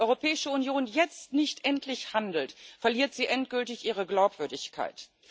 Wenn die Europäische Union jetzt nicht endlich handelt, verliert sie endgültig ihre Glaubwürdigkeit.